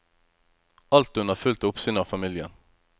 Alt under fullt oppsyn av familien.